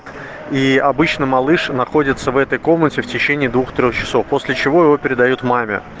и обычно малыш находятся в этой комнате в течение двух-трех часов после чего его передают маме